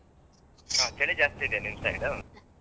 ಹ ಚಳಿ ಜಾಸ್ತಿ ಇದ್ಯಾ ನಿಮ್ side .